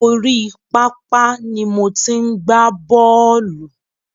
Orí pápá ni mo ti ń gbá bọ̀ọ́lù.